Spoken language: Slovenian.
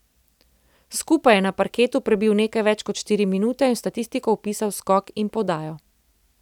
Skupaj je na parketu prebil nekaj več kot štiri minute in v statistiko vpisal skok in podajo.